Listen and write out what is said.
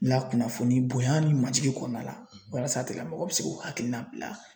lakunnafoni bonya ni majigi kɔnɔna la walasa a tigi lamɔgɔ bɛ se k'u hakilina bila.